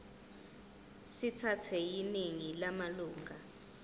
sithathwe yiningi lamalunga